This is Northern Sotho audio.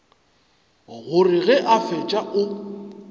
gore ge a fetša o